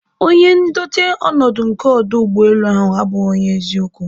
onye ndote ọnọdụ nke ọdụ ụgbọelu ahụ abụghị onye eziokwu